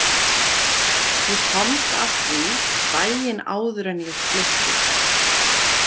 Ég komst að því daginn áður en ég flutti.